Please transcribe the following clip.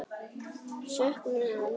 Söknuðu hans.